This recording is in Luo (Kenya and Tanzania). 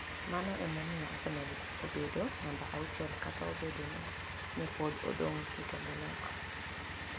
Mano ni e omiyo Arsenial obedo niamba auchiel, kata obedo nii ni e pod odonig ' tuke manok.